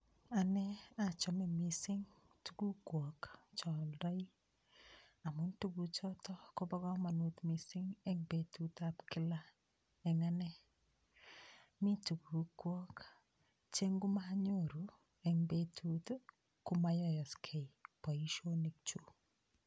Anne achome mising tugukwok cho aldoi amun tuguchoto kobo kamanut mising eng betutab kila eng anne. Mi tugukwok che ngomanyoru eng betut ii komayoyosgei boisionikyuk.